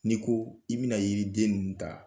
Ni ko i bɛna yiri den ninnu ta